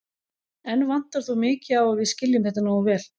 Enn vantar þó mikið á að við skiljum þetta nógu vel.